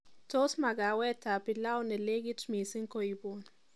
Tos makawetab pilau nelekit mising' koibun